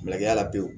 Maigala pewu